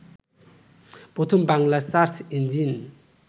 প্রথম Bangla search engine